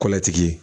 Kɔlatigi ye